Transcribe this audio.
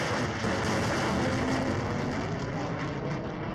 kayieu nalo ainyiang'u endaa